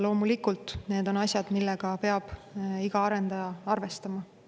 Loomulikult need on asjad, millega peab iga arendaja arvestama.